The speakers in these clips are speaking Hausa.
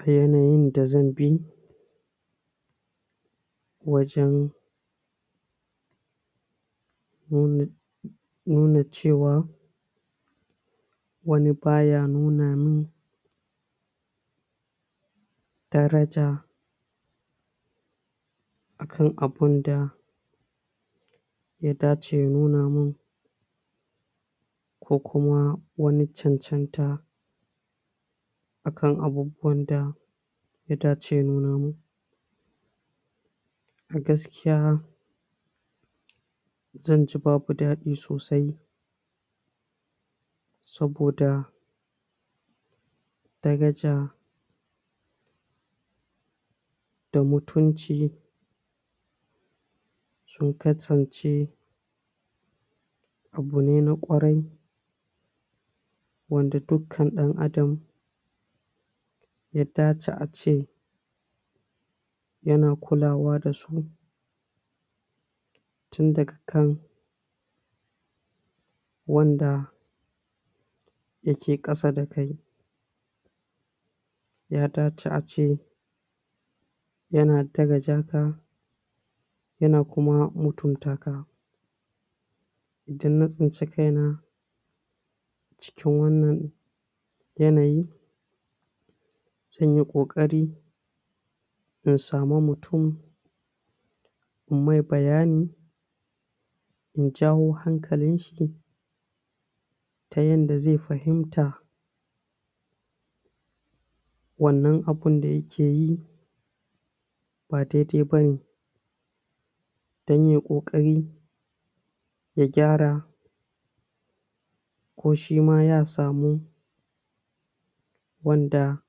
A yanayin da zan bi, wajen nuna nuna ce wa wani baya nuna min daraja a kan abinda ya dace ya nuna min ko kuma wani cancanta akan abubuwanda ya dace ya nuna min, a gaskiya zan ji babu daɗi sosai, saboda daraja da mutunci sun kasance abu ne na ƙwarai wanda dukkan ɗan adam ya dace a ce ya na kulawa da su, tun daga kan wanda ya ke ƙasa da kai, ya dace a ce ya na daraja ka, ya na kuma mutunta ka, idan na tsinci kaina cikin wannan yanayi zan yi ƙoƙari in samu mutum inyi mai bayani in jawo hankalinshi ta yanda zai fahimta wannan abun da ya ke yi ba daidai ba ne, don yai ƙoƙari ya gyara ko shima ya samu wanda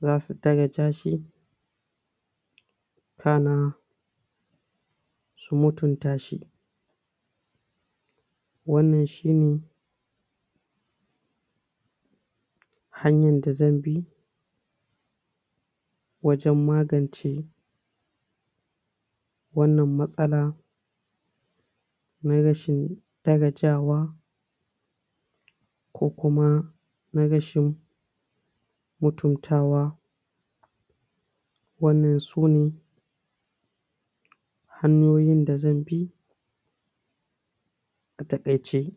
za su daraja shi kana su mutunta shi, wannan shine hanyan da zan bi wajen magance wannan matsala na rashin darajawa ko kuma na rashin mutuntawa, wannan su ne hanyoyin da zan bi a taƙaice.